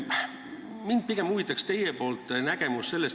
Mind huvitaks pigem teie nägemus.